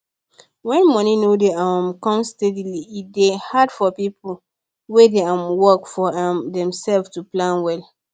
when money no dey um come steady e dey hard for people wey dey um work for um themselves to plan well